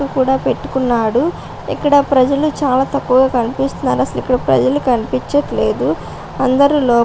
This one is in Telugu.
కూడా పెట్టుకున్నాడు ఇక్కడ ప్రజలు చాలా తక్కువుగా కనిపిస్తున్నారు. అసలు ఇక్కడ ప్రజలు కనిపించట్లేదు. అందరూ లోపల --